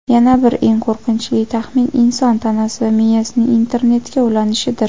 Yana bir eng qo‘rqinchli taxmin – inson tanasi va miyasining internetga ulanishidir.